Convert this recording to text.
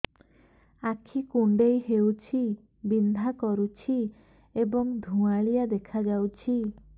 ଆଖି କୁଂଡେଇ ହେଉଛି ବିଂଧା କରୁଛି ଏବଂ ଧୁଁଆଳିଆ ଦେଖାଯାଉଛି